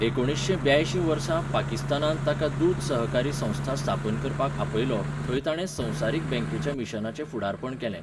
एकुणीशें ब्यायशीं वर्सा, पाकिस्तानान ताका दूद सहकारी संस्था स्थापन करपाक आपयलो, थंय ताणें संवसारीक बँकेच्या मिशनाचें फुडारपण केलें.